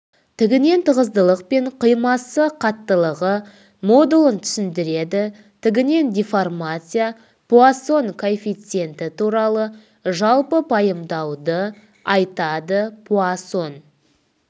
тігінен тығыздылық пен қимасы қаттылығы модулін түсіндіреді тігінен деформация пуассон коэфициенті туралы жалпы пайымдауды айтады пуассон